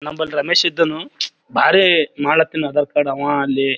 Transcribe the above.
ನಮ್ಮಲ್ ರಮೇಶಿದ್ದನು ಬಾರಿ ಮಡ್ಲತ್ತಿನ ಆಧಾರ್ ಕಾರ್ಡ್ ಆವಾ ಅಲ್ಲಿ --